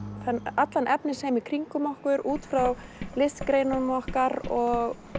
allan efnisheim í kringum okkur út frá listgreinunum okkar og